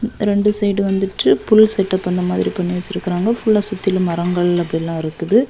ரெண்டு சைடு வந்துட்டு full setup இந்த மாதிரி பண்ணி வச்சிருக்காங்க ஃபுல்லா சுத்திலும் மரங்கள் அப்டிலா இருக்குது.